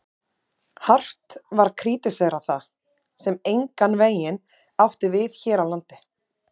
Hart var krítiserað það, sem engan veginn átti við hér á landi.